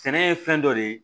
Sɛnɛ ye fɛn dɔ de ye